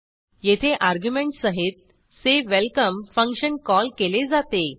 येथे अर्ग्युमेंटसहितsay welcome function call केले जाते